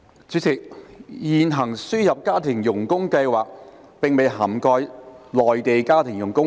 主席，現行輸入家庭傭工計劃並未涵蓋內地家庭傭工。